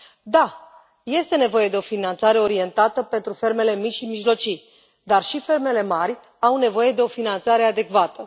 Da, este nevoie de o finanțare orientată pentru fermele mici și mijlocii, dar și fermele mari au nevoie de o finanțare adecvată.